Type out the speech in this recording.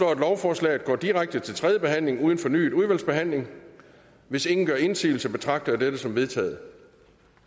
at lovforslaget går direkte til tredje behandling uden fornyet udvalgsbehandling hvis ingen gør indsigelse betragter jeg dette som vedtaget